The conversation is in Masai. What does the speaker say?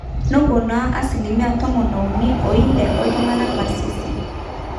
nepona asilimia tomoniuni ooile ooltung'anak karsisi